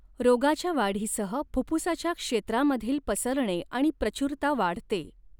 रोगाच्या वाढीसह फुफ्फुसाच्या क्षेत्रामधील पसरणे आणि प्रचुरता वाढते.